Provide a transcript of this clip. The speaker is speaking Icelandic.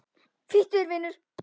Flýttu þér, vinur.